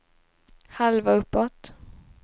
halva uppåt